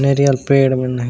नारियल पेड़ बना है ।--